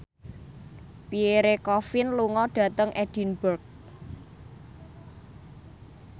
Pierre Coffin lunga dhateng Edinburgh